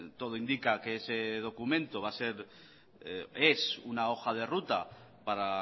todo indica que ese documento es una hoja de ruta para